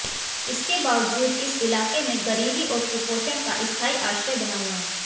इसके बावजूद इस इलाके में गरीबी और कुपोषण का स्थायी आश्रय बना हुआ है